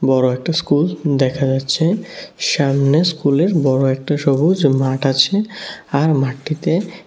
বড় একটা স্কুল দেখা যাচ্ছে সামনে স্কুলের বড় একটা সবুজ মাঠ আছে আর মাঠটিতে --